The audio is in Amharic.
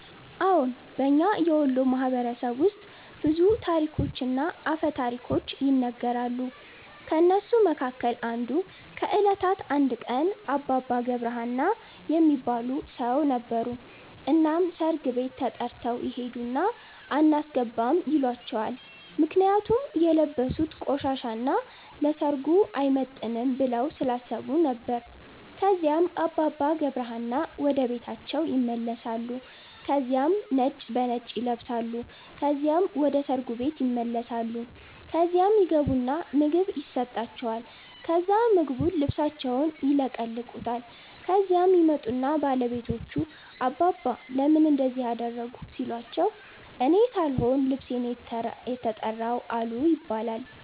አዎን። በእኛ የወሎ ማህበረሰብ ውስጥ ብዙ ታሪኮችና አፈ ታሪኮች ይነገራሉ። ከእነሱ መካከል አንዱ ከእለታት አንድ ቀን አባባ ገብረ ሀና የሚባል ሠው ነበሩ። እናም ሠርግ ቤት ተተርተው ይሄድና አናስገባም ይሏቸዋል ምክንያቱም የለበሡት ቆሻሻ እና ለሠርጉ አይመጥንም ብለው ስላሠቡ ነበር። ከዚያም አባባ ገብረ ሀና ወደ ቤታቸው ይመለሳሉ ከዚያም ነጭ በነጭ ይለብሳሉ ከዚያም ወደ ሠርጉ ቤት ይመለሳሉ። ከዚያ ይገቡና ምግብ የሠጣቸዋል ከዛ ምግቡን ልብሣቸውን ይለቀልቁታል። ከዚያም ይመጡና ባለቤቶቹ አባባ ለምን እንደዚህ አደረጉ ሲሏቸው እኔ ሣልሆን ልብሤ ነው የተራው አሉ ይባላል።